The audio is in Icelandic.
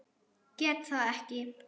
Get það ekki.